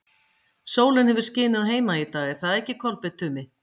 Sólin hefur skinið á Heimaey í dag, er það ekki, Kolbeinn Tumi?